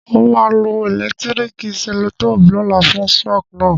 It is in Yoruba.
N o ma lo electrical cellotape lóla fun shock náà